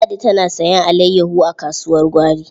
Ladi tana sayen alayyaho a kasuwar gwari.